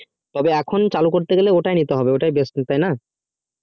তবে এখন চালু করতে গেলে ওটাই নিতে হবে ওটাই best তাই না